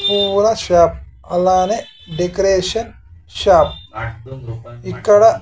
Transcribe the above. పూల షాప్ అలానే decoration shop ఇక్కడ--